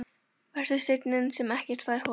Vertu steinninn sem ekkert fær holað.